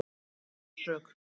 Hann neitar þó sök